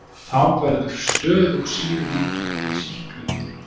Þá verður stöðug sýrumyndun í sýklunni.